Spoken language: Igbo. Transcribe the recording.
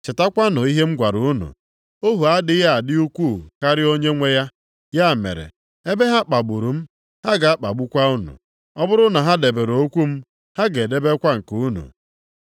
Chetakwanụ ihe m gwara unu, ‘Ohu adịghị adị ukwuu karịa Onyenwe ya.’ + 15:20 \+xt Jọn 13:16\+xt* Ya mere, ebe ha kpagburu m, ha ga-akpagbukwa unu. Ọ bụrụ na ha debere okwu m, ha ga-edebekwa nke unu.